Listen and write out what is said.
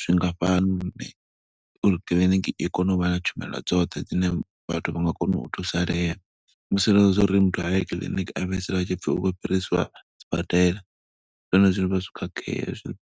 zwingafhani lune uri kiḽiniki i kone u vha na tshumelo dzoṱhe dzine vhathu vha nga kona u thusalea. Musi hezwiḽa zwa uri muthu aye kiḽiniki, a fhedzisela hu tshi pfi u khou fhiriswa sibadela. zwi vha zwo khakhea hezwiḽa.